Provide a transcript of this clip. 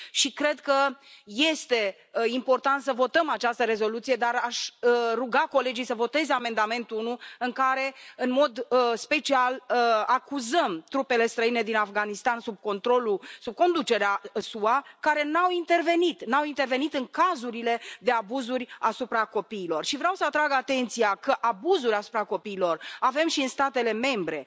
Cred că este important să votăm această rezoluție, dar aș ruga colegii să voteze amendamentul 1 în care, în mod în special, acuzăm trupele străine din Afganistan, sub controlul, sub conducerea SUA, care nu au intervenit în cazurile de abuzuri asupra copiilor și vreau să atrag atenția că abuzuri asupra copiilor avem și în statele membre.